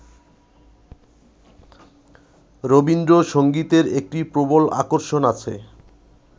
রবীন্দ্রসংগীতের একটি প্রবল আকর্ষণ আছে